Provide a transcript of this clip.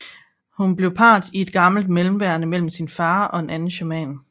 Hun bliver part i et gammelt mellemværende mellem sin far og en anden shaman